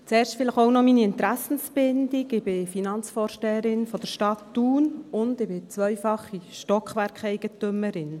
Zuerst vielleicht auch noch meine Interessenbindung: Ich bin Finanzvorsteherin der Stadt Thun und zweifache Stockwerkeigentümerin.